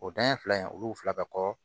O dan ye fila in olu fila bɛ kɔ